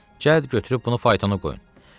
Cəhd götürüb bunu faytonu qoyun.